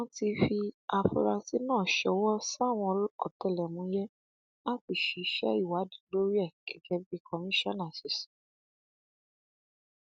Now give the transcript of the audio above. wọn ti fi àfúrásì náà ṣọwọ sáwọn ọtẹlẹmúyẹ láti ṣiṣẹ ìwádìí lórí ẹ gẹgẹ bí kọmíṣánná ṣe sọ